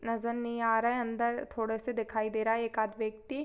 नजर नहीं आ रहा है अंदर थोड़े से दिखाई दे रहा है एक-आद व्यक्ति--